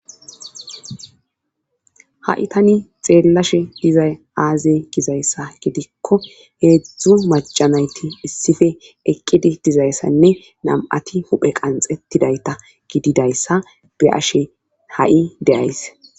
ha7i tani xeellashe dizay aazey gizayssa gidikko heedzdzu majanayti issife eqqidi dizayssanne nam7ati huphe qanxetidayta gididayssa be ashe ha7i deyays